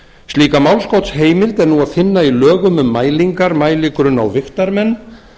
slíka málskotsheimild er nú að finna í lögum um mælingar mæligrunna og vigtarmenn